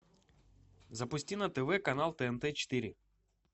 запусти на тв канал тнт четыре